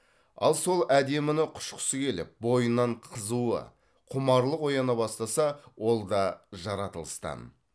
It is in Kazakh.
ал сол әдеміні құшқысы келіп бойынан қызығу құмарлық ояна бастаса ол да жаратылыстан